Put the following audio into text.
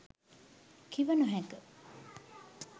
කිව නොහැක.